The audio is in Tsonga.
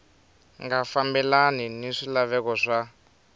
nga fambelani ni swilaveko swa